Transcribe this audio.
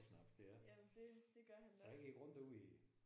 Jamen det det gør han nok